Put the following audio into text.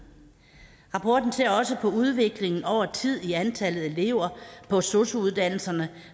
rapporten ser også på udviklingen over tid i antallet af elever på sosu uddannelserne